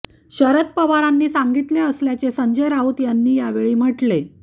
शरद पवारांनी सांगितले असल्याचे संजय राऊत यांनी यावेळी म्हटले